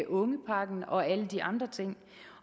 ungepakken og alle de andre ting